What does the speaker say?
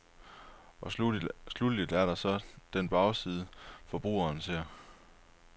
Og sluttelig er der så den bagside, forbrugerne ser.